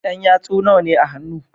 Yan yatsu nawane a hannu